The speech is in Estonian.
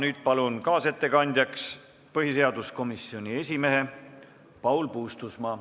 Nüüd palun kaasettekandjaks põhiseaduskomisjoni esimehe Paul Puustusmaa.